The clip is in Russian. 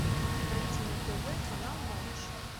найди на тв канал малыш